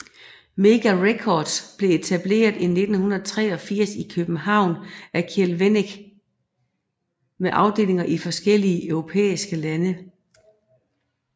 Mega Records blev etableret i 1983 i København af Kjeld Wennick med afdelinger i forskellige europæiske lande